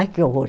Ai, que horror.